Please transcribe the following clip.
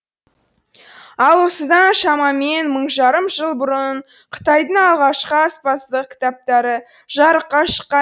ал осыдан шамамен мың жарым жыл бұрын қытайдың алғашқы аспаздық кітаптары жарыққа шыққан